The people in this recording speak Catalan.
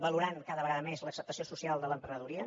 valorant cada vegada més l’acceptació social de l’emprenedoria